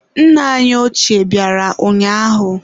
Nna anyị ochie bịara ụnyaahụ.